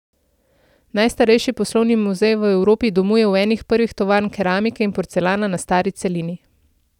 Najstarejši poslovni muzej v Evropi domuje v eni prvih tovarn keramike in porcelana na stari celini.